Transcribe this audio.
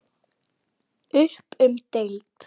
Upp um deild